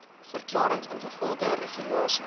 verklarings ingevolge regulasie